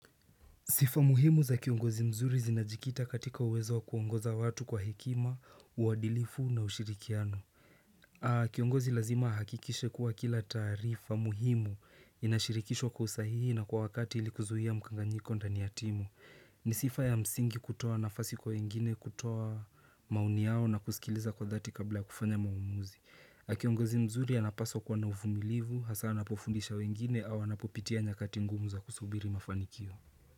Sifa muhimu za kiongozi mzuri zinajikita katika uwezo wa kuongoza watu kwa hekima, uadilifu na ushirikiano. Kiongozi lazima ahakikishe kuwa kila taarifa muhimu inashirikishwa kwa usahihi na kwa wakati ilikuzuia mkanganyiko ndani ya timu. Ni sifa ya msingi kutoa nafasi kwa wengine kutoa maoni yao na kusikiliza kwa dhati kabla kufanya maumuzi. Kiongozi mzuri anapaswa kuwa na uvumilivu, hasa anapofundisha wengine au anapopitia nyakati ngumu za kusubiri mafanikio.